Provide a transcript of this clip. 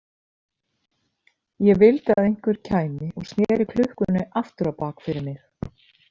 Ég vildi að einhver kæmi og sneri klukkunni aftur á bak fyrir mig.